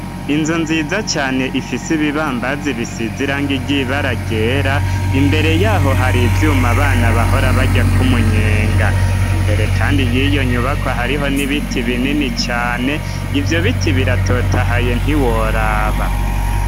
Inzu nziza cane ifise ibibambazi bisiz'irangi ry'ibara ryera imbere yaho hari ivyuma abana bahora baryak'umunyenga. Imbere kandi y'iyonyubakwa hariho n'ibiti binini cane, ivyobiti biratotahaye ntiworaba.